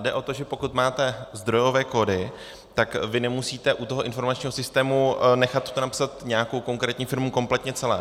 Jde o to, že pokud máte zdrojové kódy, tak vy nemusíte u toho informačního systému nechat to napsat nějakou konkrétní firmou kompletně celé.